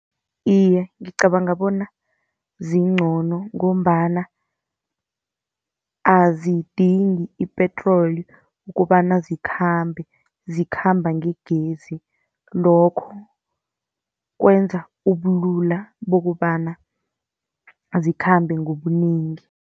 Iye, ngicabanga bona zincono, ngombana azidingi ipetroli kobana zikhambe, zikhamba ngegezi. Lokho kwenza ubulula bokobana azikhambi ngobunengi.